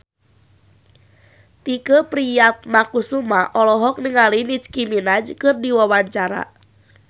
Tike Priatnakusuma olohok ningali Nicky Minaj keur diwawancara